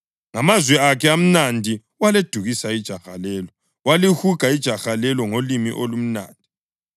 Ngamazwi akhe amnandi waledukisa ijaha lelo; walihuga ijaha lelo ngolimi olumnandi.